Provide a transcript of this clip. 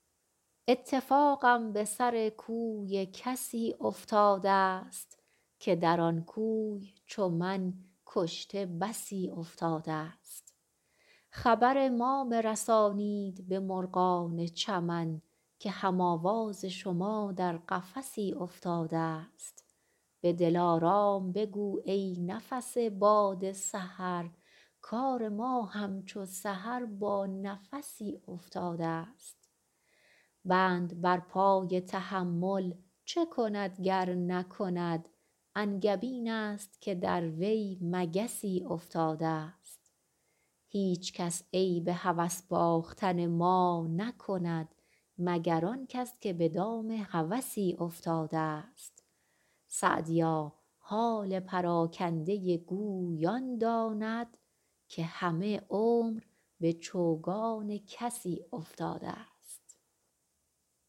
اتفاقم به سر کوی کسی افتاده ست که در آن کوی چو من کشته بسی افتاده ست خبر ما برسانید به مرغان چمن که هم آواز شما در قفسی افتاده ست به دلارام بگو ای نفس باد سحر کار ما همچو سحر با نفسی افتاده ست بند بر پای تحمل چه کند گر نکند انگبین است که در وی مگسی افتاده ست هیچکس عیب هوس باختن ما نکند مگر آن کس که به دام هوسی افتاده ست سعدیا حال پراکنده گوی آن داند که همه عمر به چوگان کسی افتاده ست